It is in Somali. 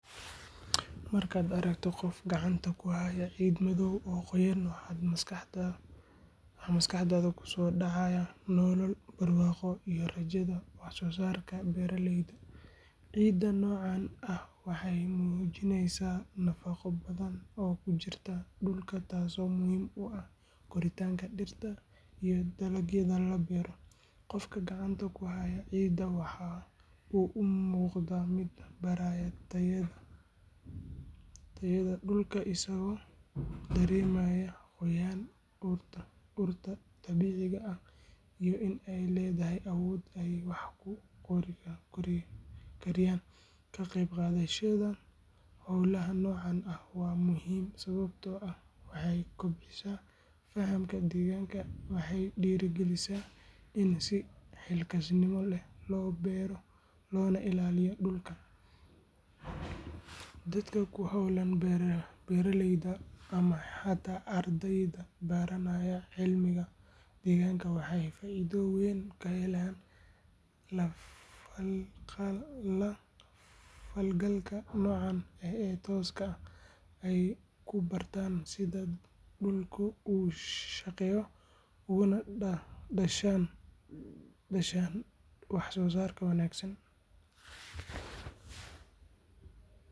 Marka aragto qoof gacanta kuhayo cid madow oo qoyon waxa maskaxdadha kusodacayah nolol barwaqo iyo rajadha wax sosarka beraleyda, cidan nocan ah waxay mujineysa nafaqo badhan oo kujirta dulka, tasi oo muhim uah danka dirta iyo dalagyada labero, qoofka gacanta kuhayo cidan waxa uu umuqda mid baraya tayada dulka asago daremayah qoyan urta dabica ah iyo in ay ledahay awod ay kukoriyan, kaqeb qadashada holaha nocan ah waa muhim sabato ah waxay kobcisa fahanka deganka waxay nah dirigalisa ini sii xilkas nimole lobero loo nah ilaliyo dulka dadka, kuholan beraledyda amah hata ardeyda baranaya cilmiga deganka waxay dor weyn kahelan falgalka nocan ee toska ah aay kubarta sidha dulka ushaqeyo unadashan wax sosarka wanagsan.